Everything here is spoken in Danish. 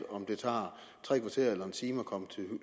om det tager tre kvarter eller en time at komme til